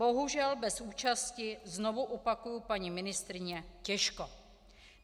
Bohužel bez účasti, znovu opakuji, paní ministryně těžko.